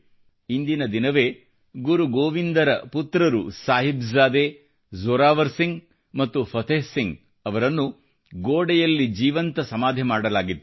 ಇಂದಿನ ದಿನವೇ ಗುರು ಗೋವಿಂದರ ಪುತ್ರರು ಸಾಹಿಬ್ ಜಾದೆ ಜೋರಾವರ್ ಸಿಂಗ್ ಮತ್ತು ಫತೇಹ್ ಸಿಂಗ್ ಅವರನ್ನು ಗೋಡೆಯಲ್ಲಿ ಜೀವಂತ ಸಮಾಧಿ ಮಾಡಲಾಗಿತ್ತು